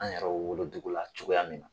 An yɛrɛw wolodugu la cogoya min na.